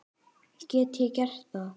Get ég gert það?